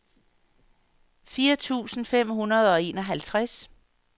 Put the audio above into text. firs tusind fem hundrede og enoghalvtreds